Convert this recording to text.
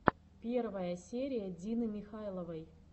первая серия дины михайловой